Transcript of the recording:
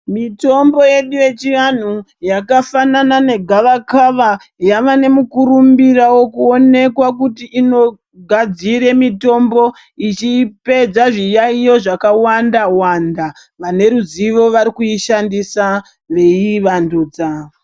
Mitombo yedu yechianhu yakafanana negavakava yava nemukurumbira wekuonekwa kuti inogadzire mitombo ichipedza zviyaiyo zvakawanda-wanda. Vane ruzivo varikuishandisa veiyi wandudza.